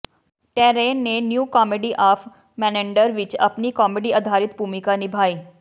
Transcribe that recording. terrain ਨੇ New Comedy of Menander ਵਿਚ ਆਪਣੀ ਕਾਮੇਡੀ ਆਧਾਰਿਤ ਭੂਮਿਕਾ ਨਿਭਾਈ